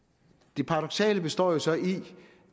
det paradoksale består så i